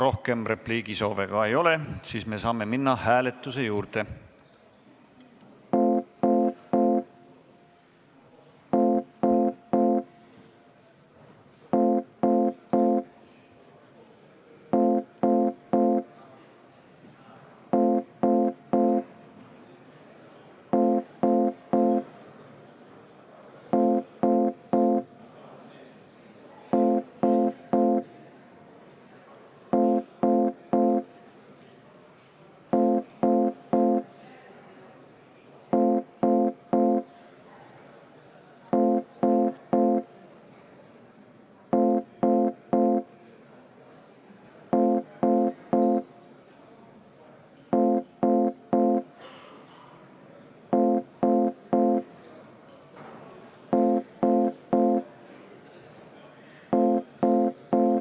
Rohkem repliigisoove ei ole, me saame minna hääletuse juurde.